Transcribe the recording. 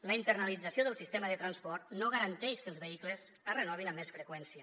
la internalització del sistema de transport no garanteix que els vehicles es renovin amb més freqüència